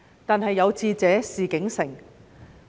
然而，有志者事竟成。